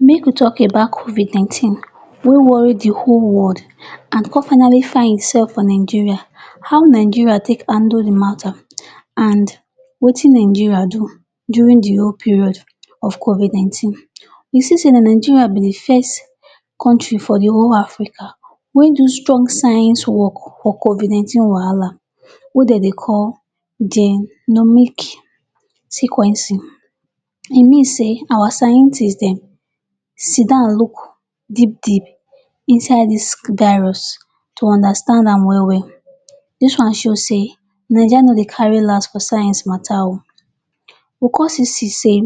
Make we talk about covid nineteen wey worry the whole world an con finally find itsef for Nigeria, how Nigeria take handle the matter an wetin Nigeria do during the whole period of covid nineteen. We see sey na Nigeria be the first country for the whole Africa wey do strong science work for covid nineteen wahala wey de dey call Genome sequencing. E mean sey our scientist dem sit down look deep-deep inside dis gairus to understand am well-well. Dis one show sey Naija no dey carry las for science matter oh. We con still see sey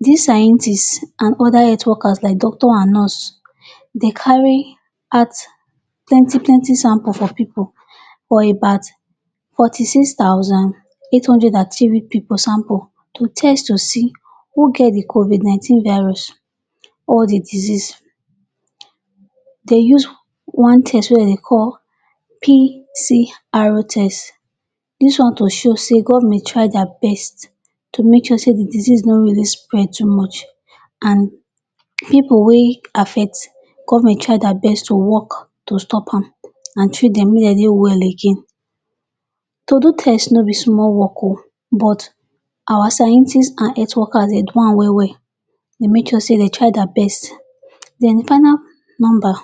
dis scientists an other health workers like doctor an nurse, de carry out plenty-plenty sample for pipu for about forty-six thousand, eight hundred an three pipu sample to test to see who get the covid nineteen virus or the disease. De use one test wey de dey call PCR test. Dis one to show sey government try dia best to make sure sey the disease no really spread too much. An pipu wey affect, government try dia best to work to stop am an treat dem make de dey well well again. To do test no be small work oh, but our scientist an health workers de do am well-well. De make sure sey dey try dis best. Then the final nomba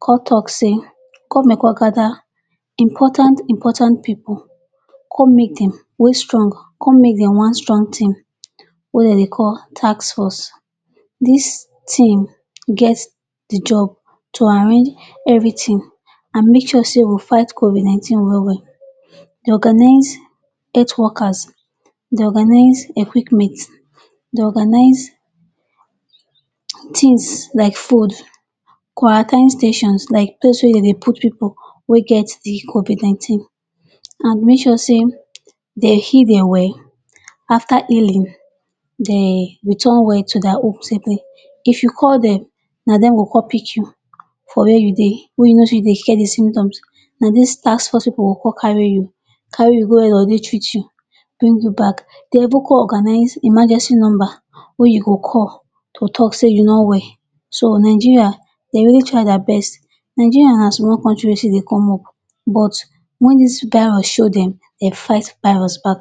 con talk sey government con gether important important pipu con make dem wey strong con make dem one strong team wey de dey call task force. Dis team get the job to arrange everything an make sure sey we fight covid nineteen well well. De organise health workers, de organise equipment, de organise tins like food, quarantine stations like place wey de dey put pipu wey get the covid nineteen, an make sure sey de heal, de well. After healing, de return well to dia home safely. If you call dem, na dem go con pick you for where you dey wey you no fit dey get the symptoms. Na dis task force pipu go con carry you. Carry you go where de willl dey treat you, bring you back. De even con organise emergency nomba wey you go call to talk sey you no well. So, Nigeria de really try dia best. Nigeria na small country wey she dey come up but wen dis virus show dem, de fight virus back.